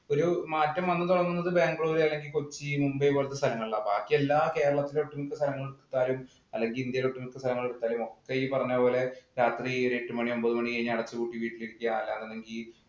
ഒരു മാറ്റം വന്നു തുടങ്ങുന്നത് ബാംഗ്ലൂര്, കൊച്ചി മുംബൈ പോലത്തെ സ്ഥലങ്ങളിലാണ്. ബാക്കി എല്ലാ കേരളത്തിലെ ഒട്ടുമിക്ക സ്ഥലങ്ങൾ എടുത്താലും, അല്ലെങ്കിൽ ഇന്ത്യയിലെ ഒട്ടുമിക്ക സ്ഥലങ്ങൾ എടുത്താലും ഒക്കെ ഈ പറഞ്ഞപോലെ രാത്രി ഒരു എട്ടു മണി ഒമ്പത് മണി കഴിഞ്ഞാല്‍ അടച്ചുപൂട്ടി വീട്ടിലിരിക്കുക. അതാണെങ്കി